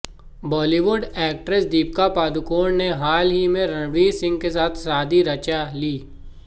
Bollywood actress Deepika Padukone ने हाल ही मे रणवीर सिंह के साथ शादी रचा ली